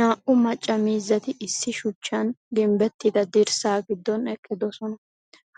Naa''u macca miizzati issi shuchchan ginbbettida dirssaa giddon eqqidosona.